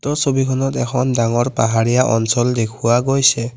ছবিখনত এখন ডাঙৰ পাহাৰীয়া অঞ্চল দেখুওৱা গৈছে।